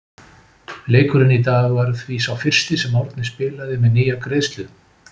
Leikurinn í dag var því sá fyrsti sem Árni spilaði með nýja greiðslu.